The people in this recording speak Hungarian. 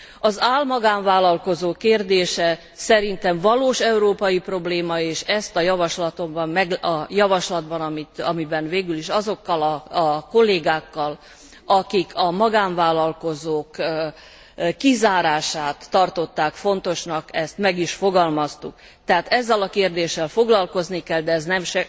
Az ál magánvállalkozók kérdése szerintem valós európai probléma és ezt a javaslatban amiben végülis azokkal a kollégákkal, akik a magánvállalkozók kizárását tartották fontosnak, meg is fogalmaztuk. Tehát ezzel a kérdéssel foglalkozni kell, de ez nem